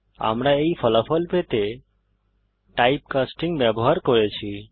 আমরা এই ফলাফল পেতে টাইপ কাস্টিং ব্যবহার করেছি